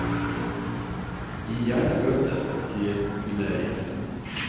Gi gjerne bøter, sier hundeeier.